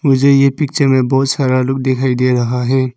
मुझे एक पिक्चर में बहुत सारा लोग दिखाई दे रहा है।